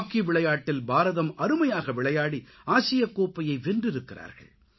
hockey விளையாட்டில் பாரதம் அருமையாக விளையாடி ஆசியக்கோப்பையை வென்றிருக்கிறார்கள்